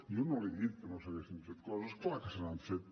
jo no li he dit que no s’haguessin fet coses clar que se n’han fet